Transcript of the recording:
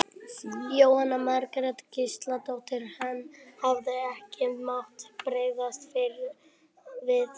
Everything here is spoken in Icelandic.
Jóhanna Margrét Gísladóttir: En hefði ekki mátt bregðast fyrr við þessu?